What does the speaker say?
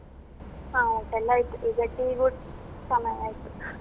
ಹ ಊಟಯೆಲ್ಲ ಆಯ್ತು ಈಗ tea ಗು ಸಮಯ ಆಯ್ತು.